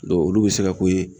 Dɔn olu be se ka ko ye